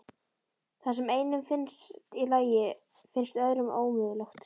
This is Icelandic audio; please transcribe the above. Það sem einum finnst í lagi finnst öðrum ómögulegt.